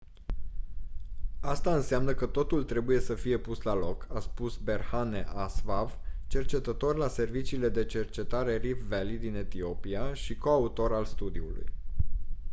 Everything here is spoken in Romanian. asta înseamnă că totul trebuie să fie pus la loc a spus berhane asfaw cercetător la serviciile de cercetare rift valley din etiopia și coautor al studiului